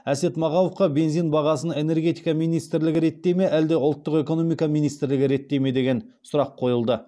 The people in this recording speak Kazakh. әсет мағауовқа бензин бағасын энергетика министрлігі реттей ме әлде ұлттық экономика министрлігі ме деген сұрақ қойылды